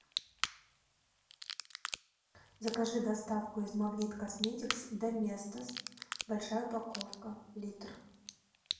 закажи доставку из магнит косметикс доместос большая упаковка литр